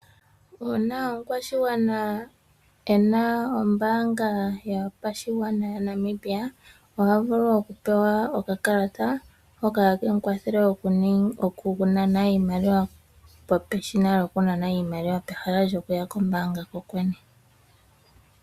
Uuna omukwashigwana e na ombaanga yopashigwana yaNamibia, oha vulu okupewa okakalata hoka hake mu kwathele okunana iimaliwa peshina lyokunana iimaliwa, pehala lyokuya kombaanga kokwene.